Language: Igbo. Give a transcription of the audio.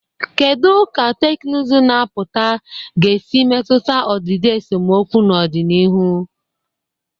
Kedu ka teknụzụ na-apụta ga-esi metụta ọdịdị esemokwu n'ọdịnihu?